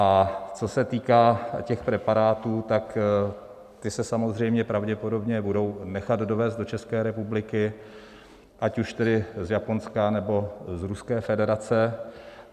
A co se týká těch preparátů, tak ty se samozřejmě pravděpodobně budou nechat dovézt do České republiky, ať už tedy z Japonska, nebo z Ruské federace.